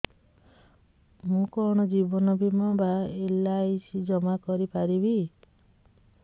ମୁ କଣ ଜୀବନ ବୀମା ବା ଏଲ୍.ଆଇ.ସି ଜମା କରି ପାରିବି